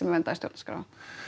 verndað í stjórnarskrá